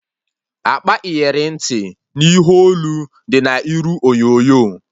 Akpa iyeri ntị na ihe olu dị na iru onyonyo